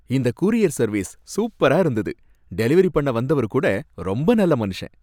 இந்த courier service சூப்பரா இருந்தது, டெலிவெரி பண்ண வந்தவரு கூட ரொம்ப நல்ல மனுஷன்